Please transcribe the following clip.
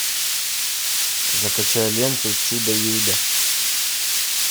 закачай ленту чудо юдо